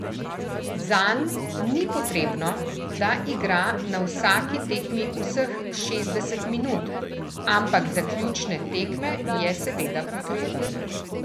Zanj ni potrebno, da igra na vsaki tekmi vseh šestdeset minut, ampak za ključne tekme je seveda potreben.